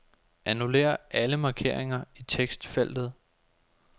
Annullér alle markeringer i tekstfeltet.